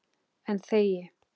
En þegi.